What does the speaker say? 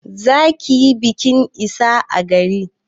Za ki yi bikin ista a gari.